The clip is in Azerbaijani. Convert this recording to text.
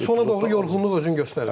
Bir də sona doğru yorğunluq özünü göstərirdi.